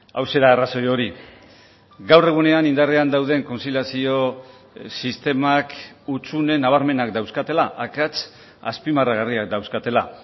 hauxe da arrazoi hori gaur egunean indarrean dauden kontziliazio sistemak hutsune nabarmenak dauzkatela akats azpimarragarriak dauzkatela